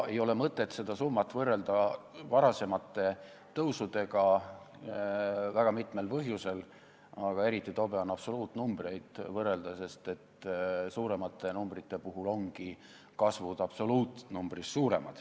Ei ole mõtet võrrelda seda summat varasemate tõusudega, seda väga mitmel põhjusel, aga eriti tobe on võrrelda absoluutnumbreid, sest suuremate numbrite puhul ongi kasv absoluutnumbrist suurem.